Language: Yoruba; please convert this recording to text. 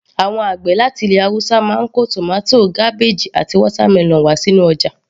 Àwọn àgbẹ̀ láti ilẹ̀ haúsá máa ń kó tomato, cabbage àti watermelon wá sínú ọjà